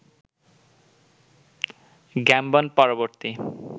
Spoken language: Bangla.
গ্যামবন পরবর্তী